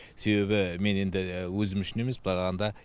себебі мен енді өзім үшін емес былай қарағанда